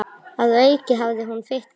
Að auki hafði hún fitnað.